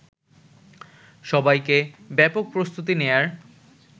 সবাইকে ব্যাপকপ্রস্তুতি নেয়ার